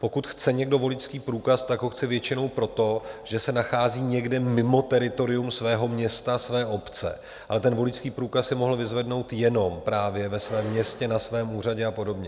Pokud chce někdo voličský průkaz, tak ho chce většinou proto, že se nachází někde mimo teritorium svého města, své obce, ale ten voličský průkaz si mohl vyzvednout jenom právě ve svém městě, na svém úřadě a podobně.